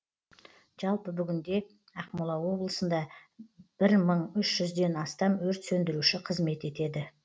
жалпы бүгінде ақмола облысында бір мың үш жүзден астам өрт сөндіруші қызмет етеді